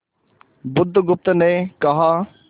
बुधगुप्त ने कहा